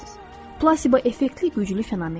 Plasiba effektli güclü fenomendir.